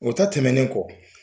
O ta tɛmɛnen kɔ